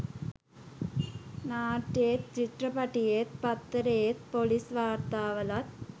නාට්‍යයේත් චිත්‍රපටියේත් පත්තරයේත් පොලිස් වාර්තාවලත්